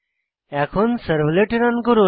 এখন servlet run করি